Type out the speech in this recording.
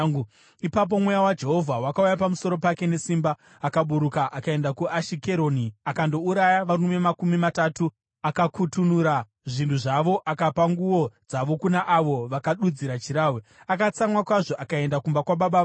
Ipapo Mweya waJehovha wakauya pamusoro pake nesimba. Akaburuka akaenda kuAshikeroni, akandouraya varume makumi matatu, akakutunura zvinhu zvavo akapa nguo dzavo kuna avo vakadudzira chirahwe. Akatsamwa kwazvo akaenda kumba kwababa vake.